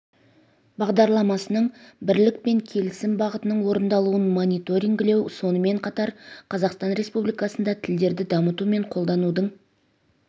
бағдарламасының бірлік пен келісім бағытының орындалуын мониторингілеу сонымен қатар қазақстан республикасында тілдерді дамыту мен қолданудың